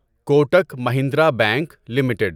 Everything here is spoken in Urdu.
Kotak Mahindra bank limited